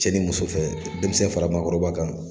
Cɛ ni muso fɛ denmisɛn fara maakɔrɔba kan